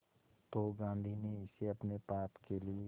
तो गांधी ने इसे अपने पाप के लिए